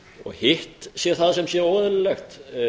og hitt sé það sem sé óeðlilegt